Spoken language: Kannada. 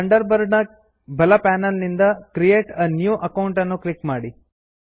ಥಂಡರ್ ಬರ್ಡ್ ನ ಬಲ ಪನೆಲ್ ನಿಂದ ಕ್ರಿಯೇಟ್ a ನ್ಯೂ ಅಕೌಂಟ್ ಅನ್ನು ಕ್ಲಿಕ್ ಮಾಡಿ